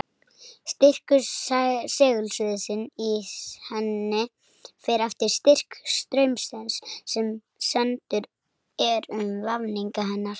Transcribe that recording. Styrkur segulsviðsins í henni fer eftir styrk straumsins sem sendur er um vafninga hennar.